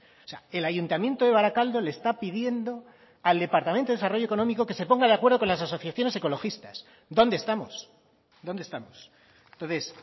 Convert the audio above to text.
o sea el ayuntamiento de barakaldo le está pidiendo al departamento de desarrollo económico que se ponga de acuerdo con las asociaciones ecologistas dónde estamos dónde estamos entonces